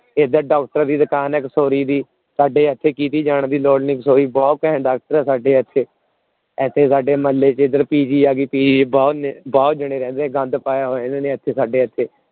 ਇੱਧਰ doctor ਦੀ ਦੁਕਾਨ ਹੈ ਕਿਸ਼ੋਰੀ ਦੀ, ਸਾਡੇ ਇੱਥੇ ਕਿਤੇ ਜਾਣ ਦੀ ਲੋੜ ਨੀ ਕਿਸ਼ੋਰੀ ਬਹੁਤ ਘੈਂਟ doctor ਆ ਸਾਡੇ ਇੱਥੇ, ਇੱਥੇ ਸਾਡੇ ਮੁਹੱਲੇ ਚ ਇੱਧਰ PG ਆ ਗਈ PG ਬਹੁਤ ਜਾਣੇ ਰਹਿੰਦੇ ਆ, ਗੰਦ ਹੋਇਆ ਇਹਨਾਂ ਨੇ ਇੱਥੇ ਸਾਡੇ ਇੱਥੇ।